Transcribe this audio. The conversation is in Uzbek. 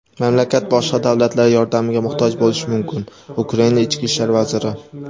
Mamlakat boshqa davlatlar yordamiga muhtoj bo‘lishi mumkin – Ukraina Ichki ishlar vaziri.